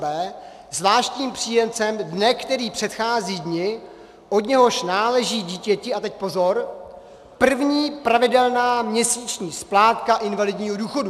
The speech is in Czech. b) zvláštním příjemcem dne, který předchází dni, od něhož náleží dítěti - a teď pozor - první pravidelná měsíční splátka invalidního důchodu.